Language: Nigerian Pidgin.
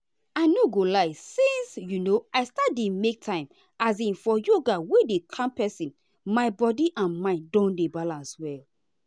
i no go lie since um i start dey make time um for yoga wey dey calm person my body and mind don dey balance well.